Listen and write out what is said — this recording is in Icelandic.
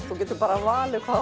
þú getur valið hvað